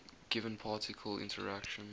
given particle interaction